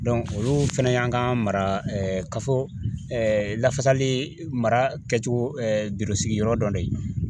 olu fɛnɛ y'an ka mara kafo lafasali mara kɛ cogo birosigi yɔrɔ dɔ ye